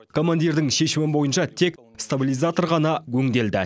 командирдің шешімі бойынша тек стабилизатор ғана өңделді